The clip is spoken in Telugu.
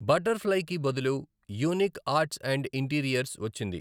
బటర్ ఫ్లై కి బదులు యూనిక్ ఆర్ట్స్ అండ్ ఇంటీరియర్స్ వచ్చింది.